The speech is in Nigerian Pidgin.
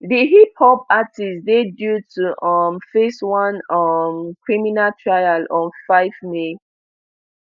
di hiphop artist dey due to um face one um criminal trial on five may